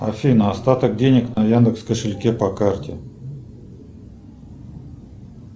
афина остаток денег на яндекс кошельке по карте